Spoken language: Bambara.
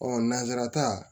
nanzararata